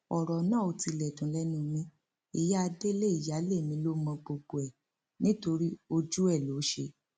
ọrọ náà ò tilẹ dùn lẹnu mi ìyá délé ìyáálé mi ló mọ gbogbo ẹ nítorí ojú ẹ ló ṣe